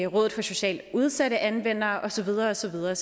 rådet for socialt udsatte anvender og så videre og så videre